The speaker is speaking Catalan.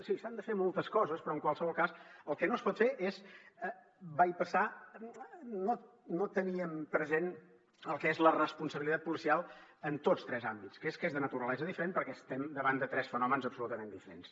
sí s’han de fer moltes coses però en qualsevol cas el que no es pot fer és bypassar no tenir present el que és la responsabilitat policial en tots tres àmbits que és de naturalesa diferent perquè estem davant de tres fenòmens absolutament diferents